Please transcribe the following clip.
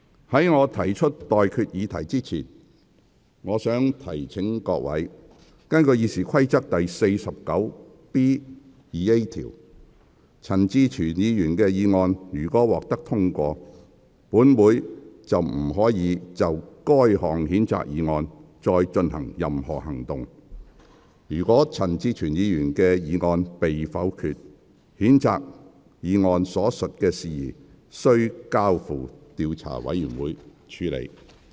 在我提出待決議題之前，我想提醒各位，根據《議事規則》第 49B 條，陳志全議員的議案如獲得通過，本會便不得就該項譴責議案再採取任何行動；如陳志全議員的議案被否決，譴責議案所述的事宜須交付調查委員會處理。